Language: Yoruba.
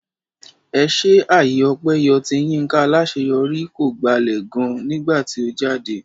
Ẹṣé àyè ọpẹ yọ tí Yinka Alaṣeyori kọ gbalẹ̀ gan nígbà tí ó jáde.